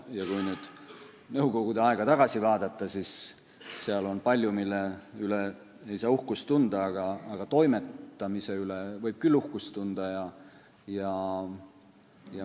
Kui nüüd nõukogude aega tagasi vaadata, siis seal on palju, mille üle ei saa uhkust tunda, aga toimetamise üle võib küll uhkust tunda.